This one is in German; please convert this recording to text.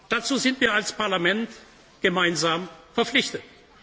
Dazu sind wir als Parlament gemeinsam verpflichtet.